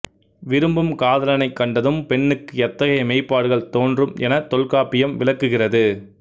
விரும்பும் காதலனைக் கண்டதும் பெண்ணுக்கு எத்தகைய மெய்ப்பாடுகள் தோன்றும் எனத் தொல்காப்பியம் விளக்குகிறது